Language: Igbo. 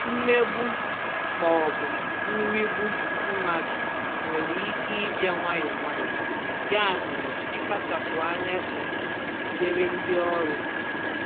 mmegbu/nrigbu mmadụ nwere ike ịbịa nwayọọ nwayọọ, ya mere, ịkpachapụ anya dị mkpa dịrị ndị ọrụ.